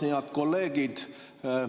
Head kolleegid!